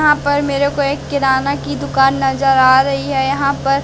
यहां पर मेरे को एक किराना की दुकान नजर आ रही है यहां पर--